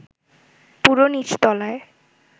পুরো নিচতলায়